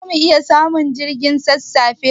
Zamu iya samun jirgin sassafe?